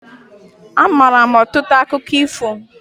Amaara m ọtụtụ akụkọ ifo.